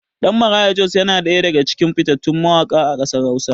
Ɗan Maraya Jos yana ɗaya daga cikin fitattun mawaƙa a ƙasar hausa.